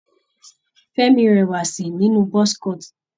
Fẹ́mi rẹwà si nínú buzz cut.